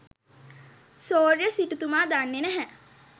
සෝරෙය්‍ය සිටුතුමා දන්නෙ නැහැ